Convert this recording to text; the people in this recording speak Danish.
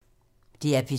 DR P2